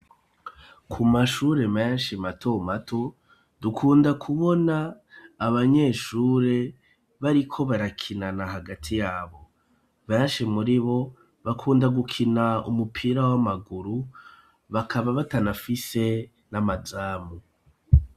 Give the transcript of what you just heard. Ku mashure menshi mato mato, dukunda kubona abanyeshure bariko barakinana hagati yabo. Benshi muribo bakunda gukina umupira w'amaguru, bakaba batanafise n'amazamu.